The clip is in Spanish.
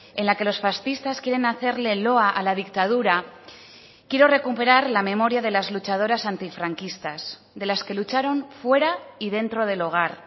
en la que los fascistas quieren hacerle el loa a la dictadura quiero recuperar la memoria de las luchadoras antifranquistas de las que lucharon fuera y dentro del hogar